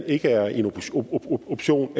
ikke er en option